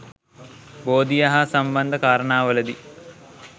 බෝධිය හා සම්බන්ධ කාරණාවලදී